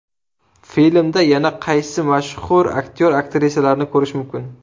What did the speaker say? Filmda yana qaysi mashhur aktyor-aktrisalarni ko‘rish mumkin?